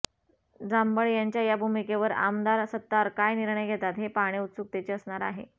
झांबड यांच्या या भूमिकेवर आमदार सत्तार काय निर्णय घेतात हे पाहणे उत्सुकतेचे असणार आहे